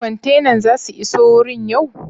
Kwantenan za su iso wurin yau?